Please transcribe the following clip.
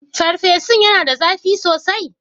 Farfesun yana da zafi sosai?